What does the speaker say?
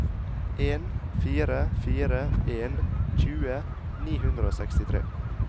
en fire fire en tjue ni hundre og sekstitre